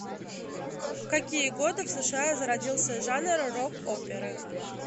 в какие годы в сша зародился жанр рок оперы